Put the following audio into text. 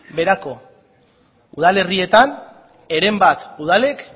beherako udalerrietan heren bat udalek